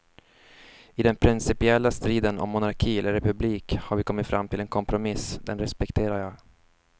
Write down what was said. I den principiella striden om monarki eller republik har vi kommit fram till en kompromiss, den respekterar jag.